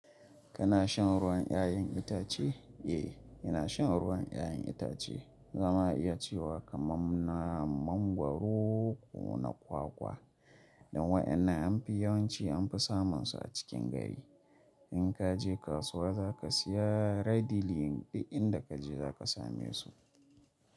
Kana shan ruwan 'ya'yan itace? Eh, ina shan ruwan 'ya'yan itace. Zama a iya cewa kaman na mangwaro ko na kwakwa dan wa'ƴannan an fi yawanci an fi samun su a cikin gari. In ka je kasuwa za ka siya readyly duk in da kaje za ka same su.